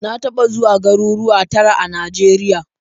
Na taɓa zuwa garuruwa tara a Najeriya.